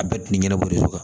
A bɛɛ ti ɲɛnabɔli de sɔrɔ